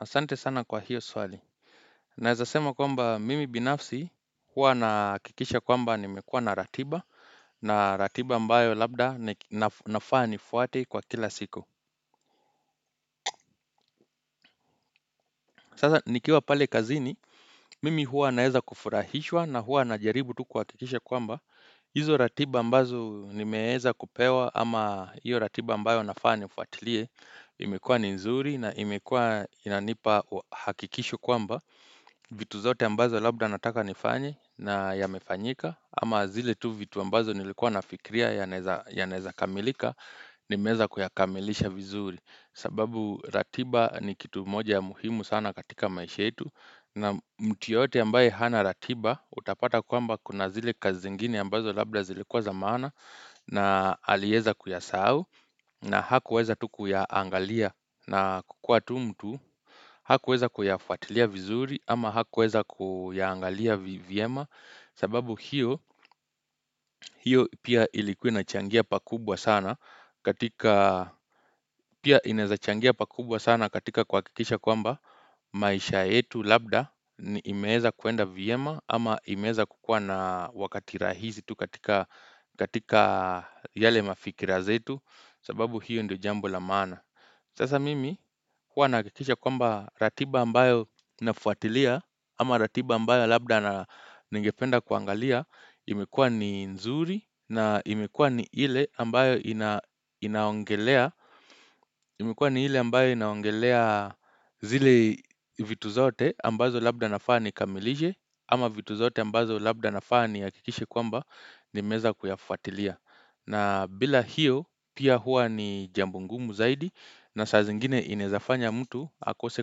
Asante sana kwa hiyo swali. Naeza sema kwamba mimi binafsi hua na akikisha kwamba nimekua na ratiba na ratiba ambayo labda nafaa nifwate kwa kila siku. Sasa nikiwa pale kazini, mimi hua naeza kufurahishwa na hua najaribu tu kuhakikisha kwamba, hizo ratiba ambazo nimeeza kupewa ama hiyo ratiba ambayo nafaa niufuatilie, imekua ni nzuri na imekua inanipa hakikisho kwamba, vitu zote ambazo labda nataka nifanye yamefanyika, ama zile tu vitu ambazo nilikuwa nafikria yanaeza kamilika, nimeeza kuyakamilisha vizuri. Sababu ratiba ni kitu moja ya muhimu sana katika maisha yetu na muti yote ambaye hana ratiba utapata kwamba kuna zile kazi zingine ambazo labda zilikuwa za maana na alieza kuyasahau na hakuweza tu kuyaangalia na kukua tu mtu Hakuweza kuyafuatilia vizuri ama hakuweza kuyangalia vyema sababu hiyo pia ilikuwa inachangia pakubwa sana katika kuhakikisha kwamba maisha yetu labda imeeza kuenda vyema ama imeeza kukua na wakati rahizi tu katika yale mafikira zetu sababu hiyo ndio jambo la maana. Sasa mimi huwa nahakikisha kwamba ratiba ambayo nafuatilia ama ratiba ambayo labda ningependa kuangalia imekua ni nzuri na imekua ni ile ambayo inaongelea imekua ni ile ambayo inaongelea zile vitu zote ambazo labda nafaa nikamilishe ama vitu zote ambazo labda nafaa nihakikishe kwamba nimeeza kuyafuatilia. Na bila hiyo pia hua ni jambo ngumu zaidi na saa zingine inaezafanya mtu akose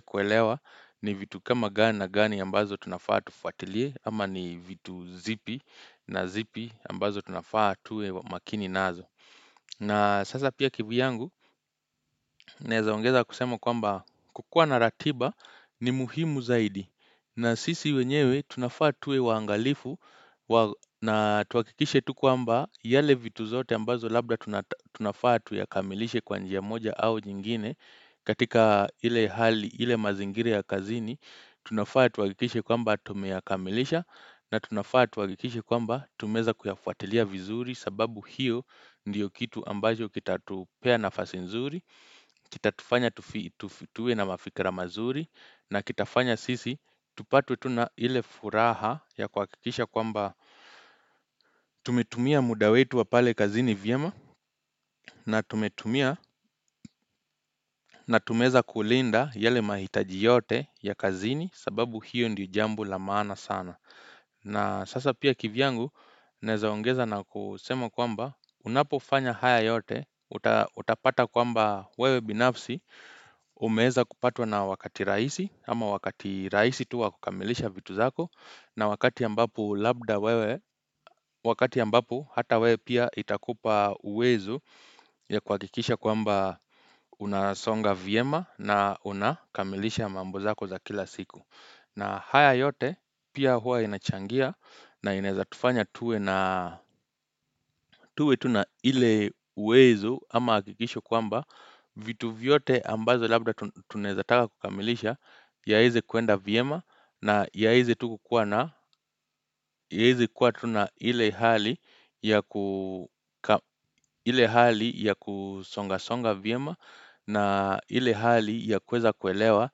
kuelewa ni vitu kama gani na gani ambazo tunafaa tufuatilie ama ni vitu zipi na zipi ambazo tunafaa tuwe makini nazo. Na sasa pia kivuyangu naeza ongeza kusema kwamba kukuwa na ratiba ni muhimu zaidi na sisi wenyewe tunafaa tuwe waangalifu na tuhakikishe tu kwamba yale vitu zote ambazo labda tunafaa tuyakamilishe kwa njia moja au jingine katika hile hali hile mazingira ya kazini tunafaa tuhakikishe kwamba tumeyakamilisha na tunafaa tuakikishe kwamba tumeeza kuyafuatilia vizuri sababu hiyo ndiyo kitu ambacho kitatupea nafasi nzuri Kitatufanya tuwe na mafikira mazuri na kitafanya sisi tupatwe tu na ile furaha ya kuakikisha kwamba tumetumia muda wetu wa pale kazini vyema na tumetumia na tumeweza kulinda yale mahitaji yote ya kazini sababu hiyo ndiyo jambo la maana sana na sasa pia kivyangu naeza ongeza na kusema kwamba unapofanya haya yote utapata kwamba wewe binafsi umeeza kupatwa na wakati raisi ama wakati raisi tu wa kukamilisha vitu zako na wakati ambapo labda wewe wakati ambapo hata wewe pia itakupa uwezo ya kuakikisha kwamba unasonga vyema na unakamilisha mambo zako za kila siku. Na haya yote pia hua inachangia na inaeza tufanya tuwe tu na ile uwezo ama akikisho kwamba vitu vyote ambazo labda tunaeza taka kukamilisha yaeze kuenda vyema na yaeze tu kukuwa na ile hali ile hali ya kusonga songa vyema na ile hali ya kuweza kuelewa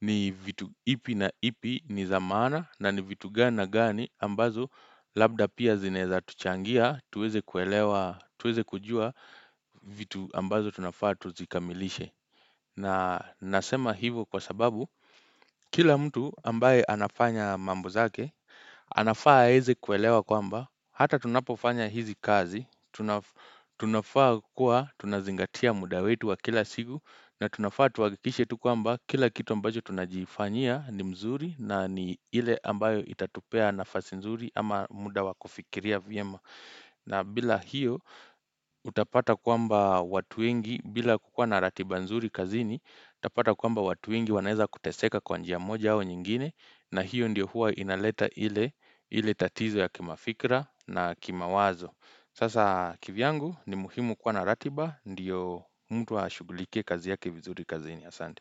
ni vitu ipi na ipi ni za maana na ni vitu gani na gani ambazo labda pia zinaeza tuchangia tuweze kujua vitu ambazo tunafaa tuzikamilishe na nasema hivo kwa sababu kila mtu ambaye anafanya mambo zake anafaa aeze kuelewa kwamba hata tunapofanya hizi kazi tunafaa kuwa tunazingatia muda wetu wa kila siku na tunafaa tuhakikishe tu kwamba kila kitu ambacho tunajifanyia ni mzuri na ni ile ambayo itatupea nafasi mzuri ama muda wa kufikiria vyema. Na bila hiyo utapata kwamba watu wengi bila kukua na ratiba mzuri kazini, utapata kwamba watu wengi wanaeza kuteseka kwa njia moja au nyingine na hiyo ndio huwa inaleta ile tatizo ya kimafikra na kimawazo. Sasa kivyangu ni muhimu kuwa na ratiba ndiyo mtu ashugulikie kazi yake vizuri kazini ya asandi.